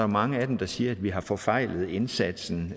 mange af dem der siger at vi har forfejlet indsatsen